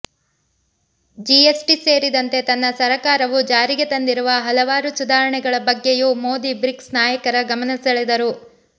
GST ಸೇರಿದಂತೆ ತನ್ನ ಸರಕಾರವು ಜಾರಿಗೆ ತಂದಿರುವ ಹಲವಾರು ಸುಧಾರಣೆಗಳ ಬಗ್ಗೆಯೂ ಮೋದಿ ಬ್ರಿಕ್ಸ್ ನಾಯಕರ ಗಮನಸೆಳೆದರು